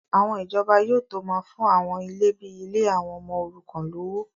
àwọn ìjọba yóò tó máa fún àwọn ilé bíi ilé àwọn ọmọ òrukàn lówó